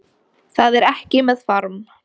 Það er ekki með farm